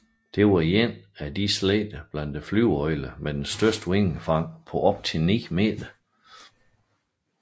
Det var en af de slægter blandt flyveøglerne med det største vingefang på op til 9 meter